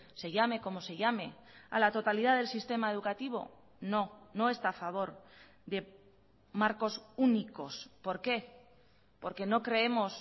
se llame como se llame a la totalidad del sistema educativo no no está a favor de marcos únicos por qué porque no creemos